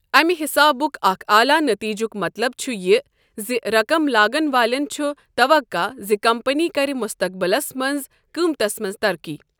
امہ حسابک اکھ اعلی نتیجُک مطلب چھ یہ زِ رقم لاگن والٮ۪ن چھ توقع ز کمپنی کر مستقبلس منٛز قۭمتس منٛز ترقی۔